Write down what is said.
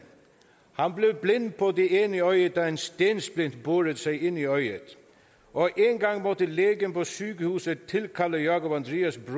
blev blind på det ene øje da en stensplint borede sig ind i øjet og engang måtte lægen på sygehuset tilkalde jákup andrias